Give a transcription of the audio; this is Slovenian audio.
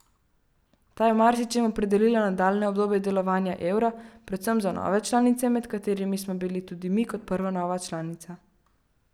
Ta je v marsičem opredelila nadaljnje obdobje delovanja evra, predvsem za nove članice, med katerimi smo bili tudi mi kot prva nova članica.